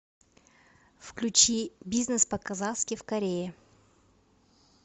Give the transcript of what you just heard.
включи бизнес по казахски в корее